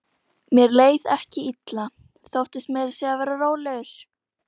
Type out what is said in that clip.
Þegar kom yfir túnið blasti áin við í djúpu gili.